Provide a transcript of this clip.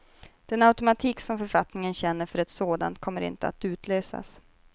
Den automatik som författningen känner för ett sådant kommer inte att utlösas.